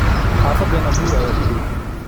Xafadena buur aya kudhow.